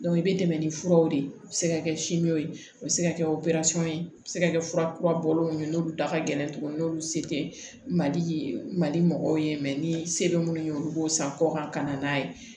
i bɛ tɛmɛ ni furaw de ye a bɛ se ka kɛ ye o bɛ se ka kɛ operesɔn ye a bɛ se ka kɛ fura kura bɔlen ye n'olu da ka gɛlɛn tuguni n'olu se tɛ mali ye mali mɔgɔw ye ni se bɛ minnu ye olu b'o san kɔkan ka na n'a ye